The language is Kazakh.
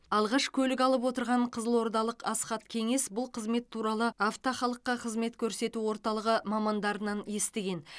алғаш көлік алып отырған қызылордалық асхат кеңес бұл қызмет туралы авто халыққа қызмет көрсету орталығы мамандарынан естіген